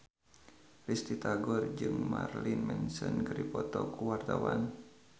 Risty Tagor jeung Marilyn Manson keur dipoto ku wartawan